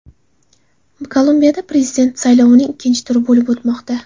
Kolumbiyada prezident saylovining ikkinchi turi bo‘lib o‘tmoqda.